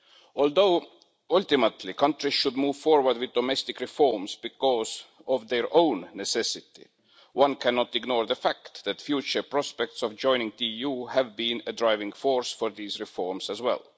Although ultimately countries should move forward with domestic reforms because of their own necessity, one cannot ignore the fact that future prospects of joining the EU have been a driving force for these reforms as well.